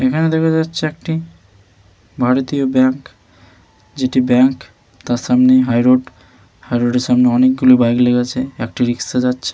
এখানে দেখা যাচ্ছে একটি ভারতীয় ব্যাংক। যেটি ব্যাংক তার সামনেই হাইরোড । হাইরোড এর সামনে অনেকগুলি বাইক লেগে আছে একটি রিক্সা যাচ্ছে।